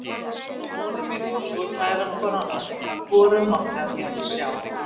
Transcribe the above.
Guðrún og móðir mín voru svo kærar hvor annarri að hvorug mátti af hinni sjá.